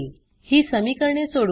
ही समीकरणे सोडवू